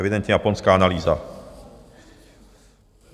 Evidentně japonská analýza.